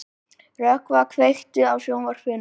Rökkva, kveiktu á sjónvarpinu.